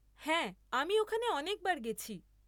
হ্যাঁ, আমি ওখানে অনেকবার গেছি।